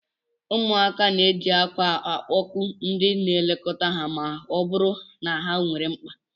Ụmụaka na-eji akwa akpọku ndị na-elekọta ha ma ọ bụrụ na ha nwere mkpa